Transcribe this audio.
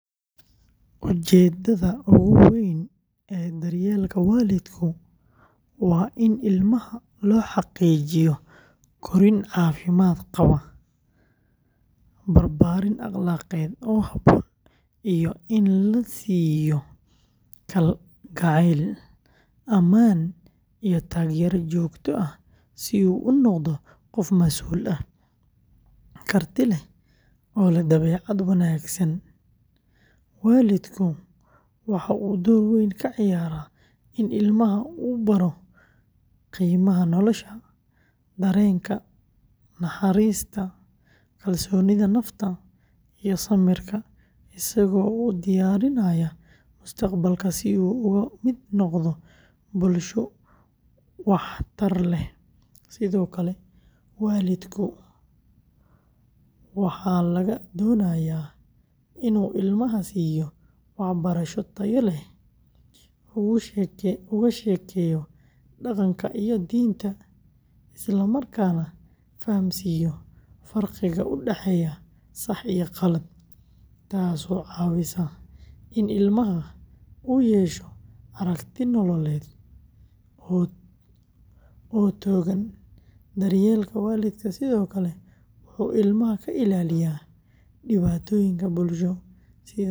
Ujeedada ugu weyn ee daryeelka waalidku waa in ilmaha loo xaqiijiyo korriin caafimaad qabta, barbaarin akhlaaqeed oo habboon, iyo in la siiyo kalgacayl, ammaan, iyo taageero joogto ah si uu u noqdo qof masuul ah, karti leh, oo leh dabeecad wanaagsan; waalidku waxa uu door weyn ka ciyaaraa in ilmaha uu baro qiimaha nolosha, dareenka naxariista, kalsoonida nafta, iyo samirka, isagoo u diyaarinaya mustaqbalka si uu uga mid noqdo bulsho wax tar leh; sidoo kale, waalidka waxaa laga doonayaa inuu ilmaha siiyo waxbarasho tayo leh, uga sheekeeyo dhaqanka iyo diinta, islamarkaana fahamsiiyo farqiga u dhexeeya sax iyo qalad, taasoo caawisa in ilmaha uu yeesho aragti nololeed oo togan; daryeelka waalidku sidoo kale wuxuu ilmaha ka ilaaliyaa dhibaatooyinka bulsho sida balwadda, xadgudubka, iyo saaxiibbo xun.